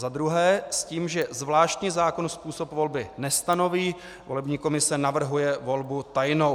za druhé s tím, že zvláštní zákon způsob volby nestanoví, volební komise navrhuje volbu tajnou.